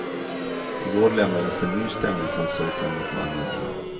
I går lämnades en ny stämningsansökan mot mannen in.